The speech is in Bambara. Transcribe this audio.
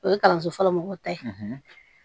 O ye kalanso fɔlɔ mɔgɔw ta ye